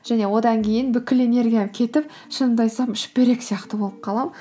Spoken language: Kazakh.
және одан кейін бүкіл энергиям кетіп шынымды айтсам шүберек сияқты болып қаламын